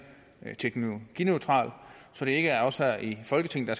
teknologineutral så det ikke er os her i folketinget